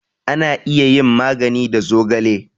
Ana iya yin magani da zogale